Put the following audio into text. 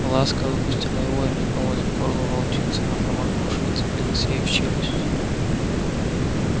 ласка выпустила его и метнулась к горлу волчицы но промахнувшись вцепилась ей в челюсть